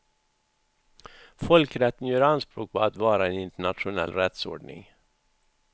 Folkrätten gör anspråk på att vara en internationell rättsordning.